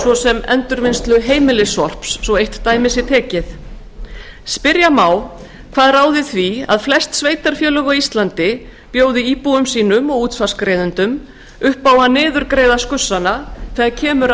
svo sem endurvinnslu heimilissorps spyrja má hvað ráði því að flest sveitarfélög á íslandi bjóða íbúum sínum og útsvarsgreiðendum upp að niðurgreiða skussana þegar kemur að